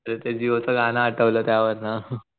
अरे ते जिओ च गं आठवलं त्यावरण